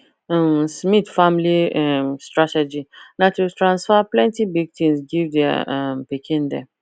um smith family um strategy na to transfer plenty big things give their um pikin dem